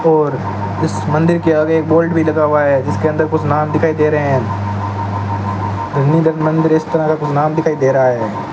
और इस मंदिर के आगे बोल्ड भी लगा हुआ है जिसके अंदर कुछ नाम दिखाई दे रहे हैं मंदिर इस तरह का कुछ नाम दिखाई दे रहा है।